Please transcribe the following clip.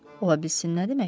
Ola bilsin nə deməkdir?